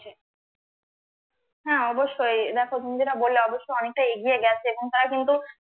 হ্যাঁ, অবশ্যই দেখো তুমি যেটা বললে অবশ্যই অনেকটা এগিয়ে গেছে এবং তারা কিন্তু